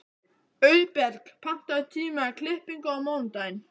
Auðberg, pantaðu tíma í klippingu á mánudaginn.